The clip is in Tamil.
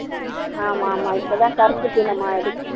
ஆமா ஆமா இப்பதான் கருப்பு தினம் ஆயிடுச்சி